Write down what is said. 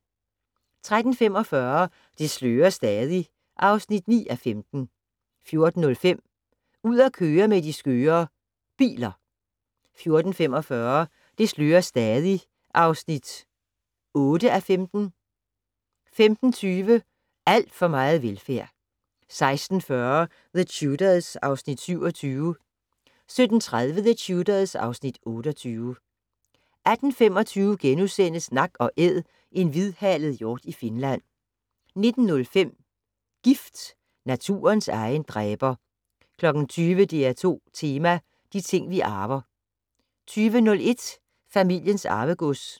13:45: Det slører stadig (9:15) 14:05: Ud at køre med de skøre ... biler 14:45: Det slører stadig (8:15) 15:20: Alt for meget velfærd 16:40: The Tudors (Afs. 27) 17:30: The Tudors (Afs. 28) 18:25: Nak & Æd - en hvidhalet hjort i Finland (8:8)* 19:05: Gift - naturens egen dræber 20:00: DR2 Tema: De ting vi arver 20:01: Familiens Arvegods